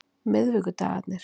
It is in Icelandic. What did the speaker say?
miðvikudagarnir